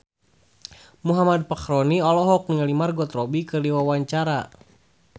Muhammad Fachroni olohok ningali Margot Robbie keur diwawancara